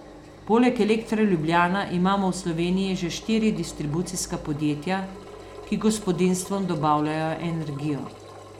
Poleg Elektra Ljubljana imamo v Sloveniji še štiri distribucijska podjetja, ki gospodinjstvom dobavljajo energijo.